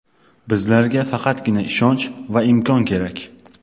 Bizlarga faqatgina ishonch va imkon kerak.